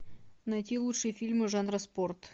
найти лучшие фильмы жанра спорт